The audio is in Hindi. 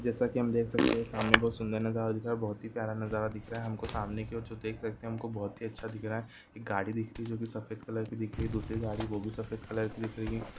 जैसा कि हम देख सकते हैं सामने एक बहोत ही सुन्दर नजारा दिख रहा है बहोत ही प्यारा नज़ारा दिख रहा है सामने की और जो देख सकते है वह बहोत ही अच्छा दिख रहा है एक गाड़ी दिख रही है जो की सफ़ेद कलर की दिख रही है दूसरी गाड़ी वो भी सफेद कलर की दिख रही है।